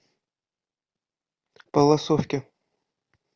палласовке